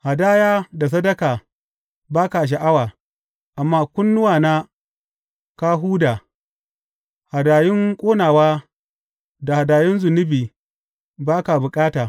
Hadaya da sadaka ba ka sha’awa, amma kunnuwana ka huda; hadayun ƙonawa da hadayun zunubi ba ka bukata.